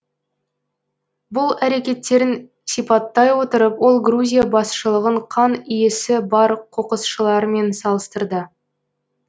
бұл әрекеттерін сипаттай отырып ол грузия басшылығын қан иісі бар қоқысшылармен салыстырды